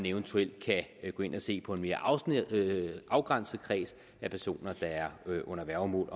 eventuelt gå ind og se på en mere afgrænset kreds af personer der er under værgemål